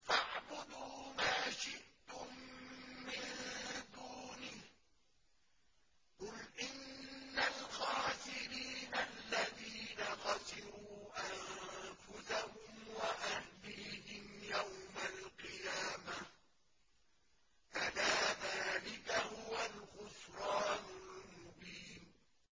فَاعْبُدُوا مَا شِئْتُم مِّن دُونِهِ ۗ قُلْ إِنَّ الْخَاسِرِينَ الَّذِينَ خَسِرُوا أَنفُسَهُمْ وَأَهْلِيهِمْ يَوْمَ الْقِيَامَةِ ۗ أَلَا ذَٰلِكَ هُوَ الْخُسْرَانُ الْمُبِينُ